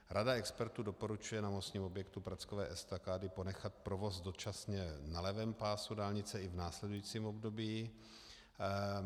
Rada expertů doporučuje na mostním objektu Prackovické estakády ponechat provoz dočasně na levém pásu dálnice i v následujícím období.